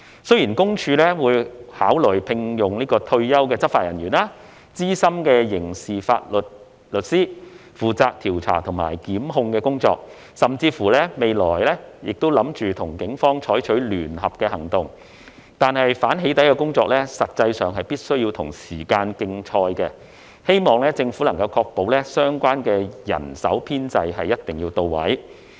雖然私隱公署會考慮聘用退休執法人員、資深刑事法律師負責調查及檢控工作，甚至未來亦計劃與警方採取聯合行動，但反"起底"的工作實際上必須與時間競賽，希望政府能確保相關人手編制一定要到位。